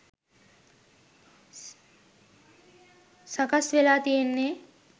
සකස් වෙලා තියෙන්නේ.